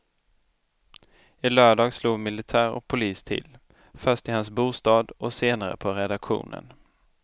I lördags slog militär och polis till, först i hans bostad och senare på redaktionen.